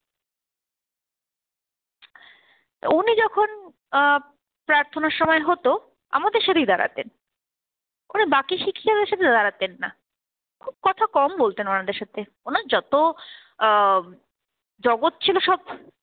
অ্যাঁ প্রার্থনার সময় হতো, আমাদের সাথেই দাঁড়াতেন। মানে বাকি শিক্ষিকাদের সাথে দাঁড়াতেন না, খুব কথা কম বলতে ওনাদের সাথে। ওনার যত অ্যাঁ জগৎ ছিল সব